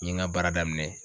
N ye n ga baara daminɛ